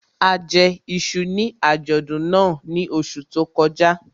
A jẹ iṣu ní àjọ̀dún náà ní oṣù tó kọjá